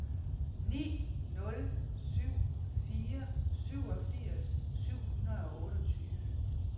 ni nul syv fire syvogfirs syv hundrede og otteogtyve